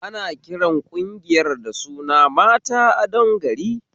Ana kiran ƙungiyar da suna 'mata adon gari'